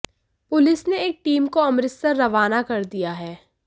police ने एक team को अमृतसर रवाना कर दिया है